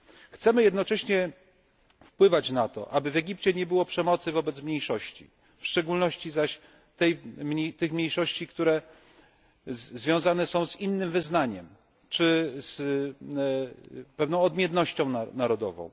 Chcemy jednocześnie wpływać na to, aby w Egipcie nie było przemocy wobec mniejszości, w szczególności zaś tych mniejszości, które związane są z innym wyznaniem czy z pewną odmiennością narodową.